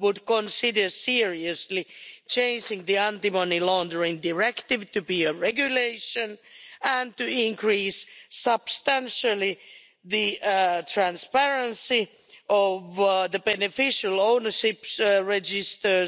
would consider seriously chasing the anti money laundering Directive to be a Regulation and to increase substantially the transparency of the beneficial ownership registers,